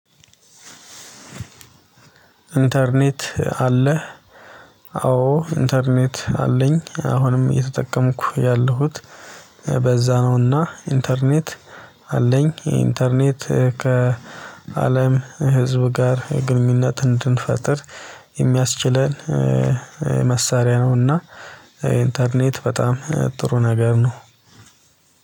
ኢንተርኔት አለህ? አዎ ኢንተርኔት አለኝ አሁንም እየተጠቀምኩ ያለሁት በዛ ነው። እና ኢንተርኔት አለኝ። ኢንተርኔት ከአለም ህዝብ ጋር ግንኙነት እንድንፈጥር የሚያስችለን መሳሪያ ነውእ። ና ኢንተርኔት በጣም ጥሩ ነገር ነው።